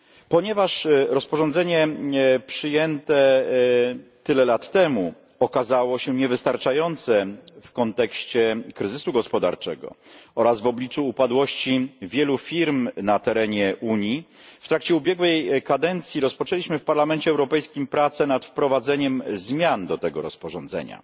Ponieważ rozporządzenie przyjęte tyle lat temu okazało się niewystarczające w kontekście kryzysu gospodarczego oraz w obliczu upadłości wielu firm na terenie Unii, w trakcie ubiegłej kadencji rozpoczęliśmy w Parlamencie Europejskim prace nad wprowadzeniem zmian do tego rozporządzenia.